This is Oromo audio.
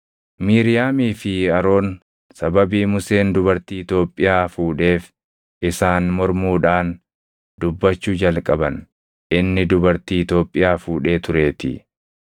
Miiriyaamii fi Aroon sababii Museen dubartii Itoophiyaa fuudheef isaan mormuudhaan dubbachuu jalqaban; inni dubartii Itoophiyaa fuudhee tureetii.